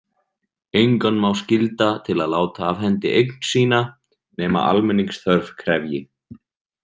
Engan má skylda til að láta af hendi eign sína nema almenningsþörf krefji.